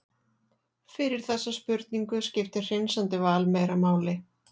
fyrir þessa spurningu skiptir hreinsandi val meira máli